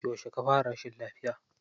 Yauce ka fara rashin lafiya?